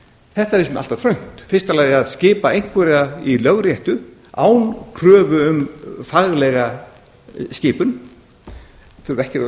þetta finnst mér allt of þröngt í fyrsta lagi að skipa einhverja í lögréttu án kröfu um faglega skipun þeir þurfa til dæmis ekki að